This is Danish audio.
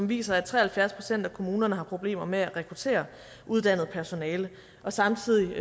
viser at tre og halvfjerds procent af kommunerne har problemer med at rekruttere uddannet personale og samtidig